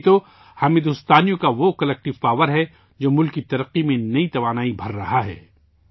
یہی تو ہم بھارت کے لوگوں کی اجتماعی طاقت ہے، جو ملک کی پیش رفت میں نئی توانائی بھررہی ہے